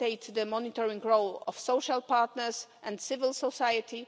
the monitoring role of social partners and civil society